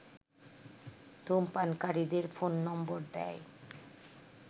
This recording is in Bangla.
ধূমপানকারীদের ফোন নম্বর দেয়